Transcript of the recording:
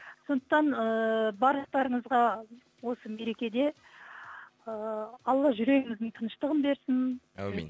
сондықтан ыыы барлықтарыңызға осы мерекеде ы алла жүрегіңіздің тыныштығын берсін әумин